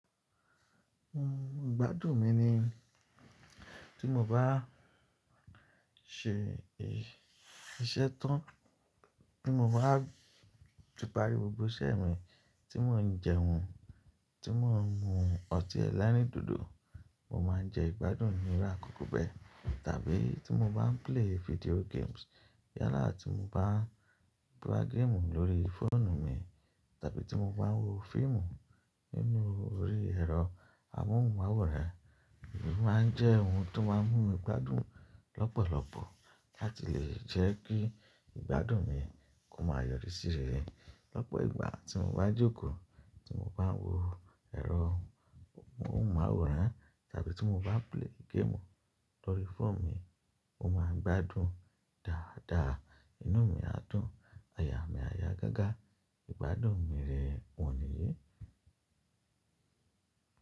Mm, ìgbádùn mi ni tí mo bá a ṣe e. Iṣẹ́ tán, tí mo bá ti parí gbogbo iṣẹ́ mi, tí mò ń jẹun, tí mò ń mu ọtí ẹlẹ́rìndòdò, mo máa ń jẹ ìgbádùn mi ni àkókò bẹ́ẹ̀. Tàbí tí mo bá ń play video games. Yálà tí mo bá ń gbá géèmù lórí fóònù mi, tàbí tí mo bá ń wo fíìmù nínú orí ẹ̀rọ amóhùnmáwòrán, eyi máa ń jẹ́ ohun tó má ń mú mi gbádùn lọ́pọ̀lọ́pọ̀ láti lè jẹ́ kí ìgbádùn mi kó má a yọrí síre. Lọ́pọ̀ ìgbà tí mo bá ń jókòó, tí mo bá ń wo ẹ̀rọ amóhùnmáwòrán tàbí tí mo bá ń play game lórí fóònù mi, mo má ń gbádùn dáadáa. Inú mi á dùn, aya mí á ya gágá, ìgbádùn mi rèè wọ̀nyí.